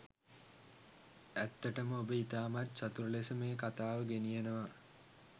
ඇත්තටම ඔබ ඉතාමත් චතුර ලෙස මේ කතාව ගෙනියනවා.